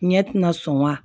Ɲɛ ti na sɔn wa